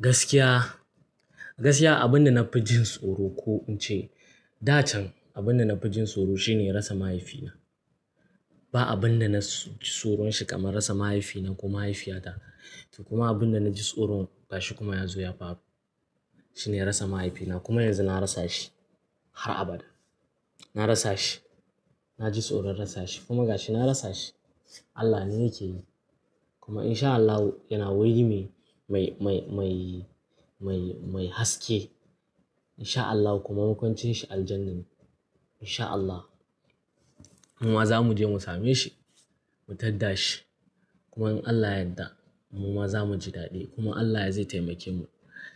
Gaskiya, gaskiya abin da na fi jin tsoro ko in ce, da can abin da na fi jin tsoro shine rasa mahaifina. Ba abin da na ji tsoron shi kamar rasa mahaifina ko mahaifiyata. Kuma abin da na ji tsoro gashi kuma ya zo ya faru shine rasa mahaifina kuma yanzu na rasa shi har abada. Na rasa shi, na ji tsoron rasa shi kuma gashi na rasa shi. Allah ne yake yi. Kuma in sha Allahu yana wurin mai, mai, mai, mai, mai haske. In sha Allahu kuma makwancin shi Aljanna ne. In sha Allahu muma zamu je mu same shi, mu tadda shi. Kuma in Allah yadda muma zamu ji dadi kuma Allah zai taimake mu.